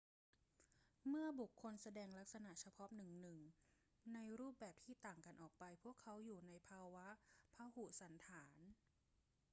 เมื่อบุคคลแสดงลักษณะเฉพาะหนึ่ง ๆ ในรูปแบบที่ต่างกันออกไป พวกเขาอยู่ในภาวะพหุสันฐาน